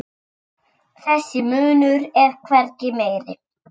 Þessi munur er hvergi meiri.